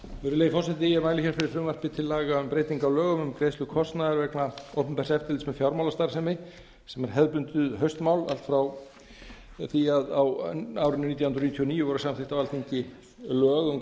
virðulegi forseti ég mæli fyrir frumvarpi til laga um breyting á lögum um greiðslu kostnaðar við opinbert eftirlit með fjármálastarfsemi sem er hefðbundið haustmál allt frá því að á árinu nítján hundruð níutíu og níu voru samþykkt á alþingi lög um